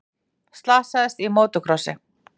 Slasaðist í mótorkrossi